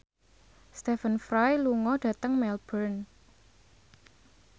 Stephen Fry lunga dhateng Melbourne